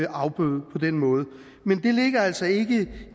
afbøde på den måde men det ligger altså ikke